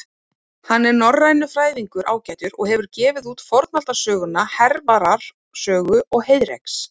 Hann er norrænufræðingur ágætur og hefur gefið út fornaldarsöguna Hervarar sögu og Heiðreks.